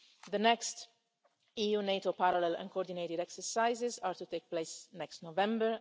The next EU NATO parallel and coordinated exercises are to take place next November.